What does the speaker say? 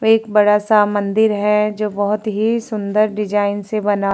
एक बड़ा सा मंदिर है जो बहुत ही सुंदर डिजाईन से बना --